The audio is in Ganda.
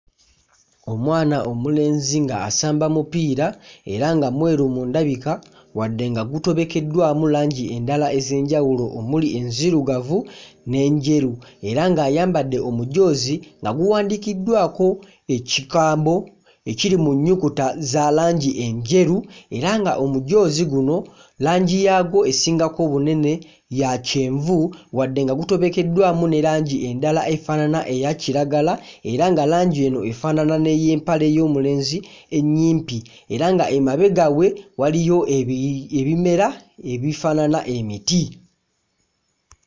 Omwana omulenzi ng'asamba mupiira era nga mweru mu ndabika wadde nga gutobekeddwamu langi endala ez'enjawulo, omuli enzirugavu n'enjeru era ng'ayambadde omujoozi nga guwandiikiddwako ekigambo ekiri mu nnyukuta zalangi enjeru era nga omujoozi guno langi yaagwo esingako obunene yakyenvu wadde nga gutobekeddwamu ne langi endala efaanana eyakiragala era nga langi eno efaanana n'ey'empale y'omulenzi ennyimpi era ng'emabega we waliyo ebi ebimera ebifaanana emiti.